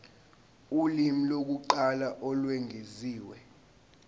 ulimi lokuqala olwengeziwe